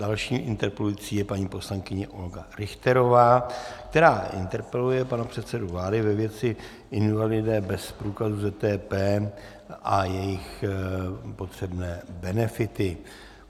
Další interpelující je paní poslankyně Olga Richterová, která interpeluje pana předsedu vlády ve věci invalidé bez průkazu ZTP a jejich potřebné benefity.